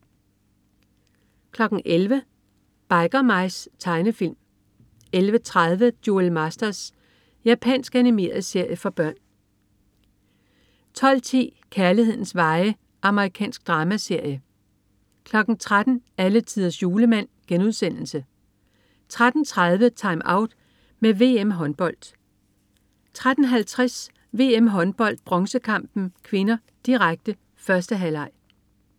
11.00 Biker Mice. Tegnefilm 11.30 Duel Masters. Japansk animeret serie for børn 12.10 Kærlighedens veje. Amerikansk dramaserie 13.00 Alletiders Julemand* 13.30 TimeOut med VM-Håndbold 13.50 VM-Håndbold: Bronzekampen (k), direkte. 1. halvleg